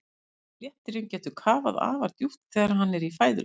Léttirinn getur kafað afar djúpt þegar hann er í fæðuleit.